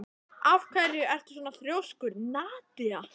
Af hverju ertu svona þrjóskur, Nadia?